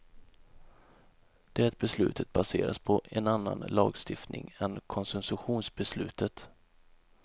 Det beslutet baseras på en annan lagstiftning än koncessionsbeslutet.